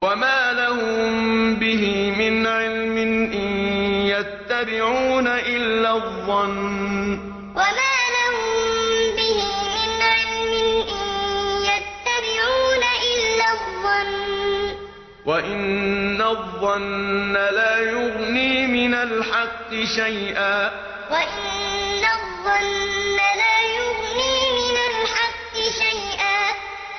وَمَا لَهُم بِهِ مِنْ عِلْمٍ ۖ إِن يَتَّبِعُونَ إِلَّا الظَّنَّ ۖ وَإِنَّ الظَّنَّ لَا يُغْنِي مِنَ الْحَقِّ شَيْئًا وَمَا لَهُم بِهِ مِنْ عِلْمٍ ۖ إِن يَتَّبِعُونَ إِلَّا الظَّنَّ ۖ وَإِنَّ الظَّنَّ لَا يُغْنِي مِنَ الْحَقِّ شَيْئًا